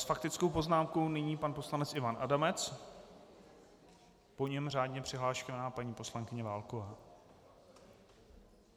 S faktickou poznámkou nyní pan poslanec Ivan Adamec, po něm řádně přihlášená paní poslankyně Válková.